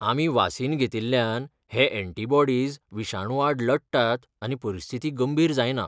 आमी वासीनघेतिल्ल्यान हे एंटिबॉडिस विशाणू आड लडटात आनी परिस्थिती गंभीर जायना.